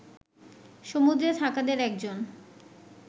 সমুদ্রে থাকাদের একজন